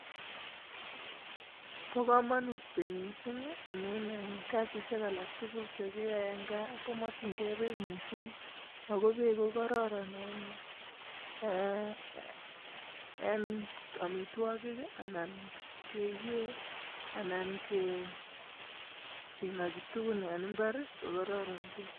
Bo komonut beek missing amun en kasisiek alaktukul chekiyoe en gaa ko mokin gee beek missing ako beek ko kororon en ee en omitwokik ana keyee anan kee kinoki tukun en imbar rii ko kororon beek.